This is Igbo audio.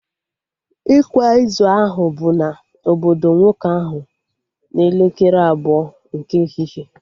Ịkwa izu ahụ bụ na obodo nwoke ahụ n'elekere abụọ nke ehihie